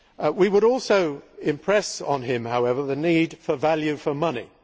We would also impress on him, however, the need for value for money.